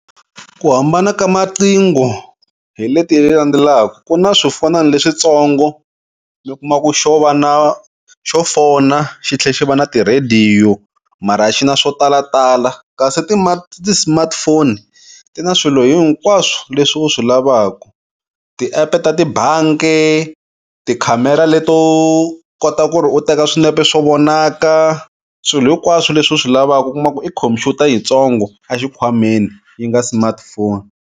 Ku hambana ka maqhingo hi leti landzelaka, ku na swifonani leswitsongo mi kuma ku xo va na xo fona xithle xi va na ti-radio, mara a xi na swo talatala. Kasi ti-smartphone ti na swilo hinkwaswo leswi u swi lavaku. Tiepe ta tibanki, ti-camera leto kota ku ri u teka swinepe swo vonaka, swilo hinkwaswo leswi u swi lavaka u kuma ku i khomphyuta yitsongo a xikhwameni yi nga smartphone.